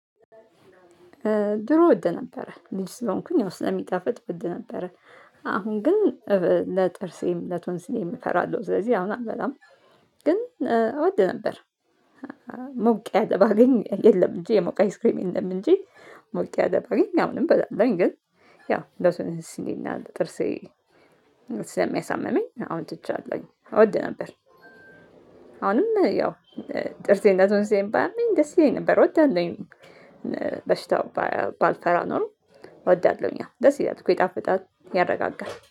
ድሮ ወድ ነበረ ልጅ ስለሆንኩኝ ያው ስለሚጣፍጥ ወድ ነበረ። አሁን ግን እ ለጥርሴም ለቶንስሌም እፈራለሁ ስለዚህ አሁን አልበላም። ግን እ እወድ ነበር አ ሞቅ ያለ ባገኝ የለም እንጂ የሞቀ አይስክሬም የለም እንጂ። ሞቅ ያለ ባገኝ አሁንም በላለሁኝ ግን ያው ለቶንስሌ እና ለጥርሴ ስለሚያሳምመኝ አሁን ትቼአለሁኝ። እወድ ነበር። አሁንም ያው እ ጥርሴንና ቶንስሌን ባያመኝ ደስ ይለኝ ነበር ወዳለሁኝ። እ በሽታው ባያ ባልፈራ ኖሮ እወዳለሁኝ ደስ ይላል እኮ ይጣፍጣል ያረጋጋል።